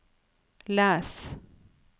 les